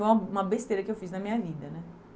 Foi uma uma besteira que eu fiz na minha vida, né?